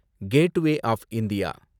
gateway of India